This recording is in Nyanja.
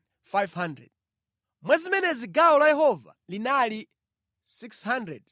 mwa zimenezi gawo la Yehova linali 675;